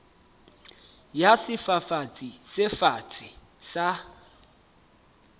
ya sefafatsi se fatshe sa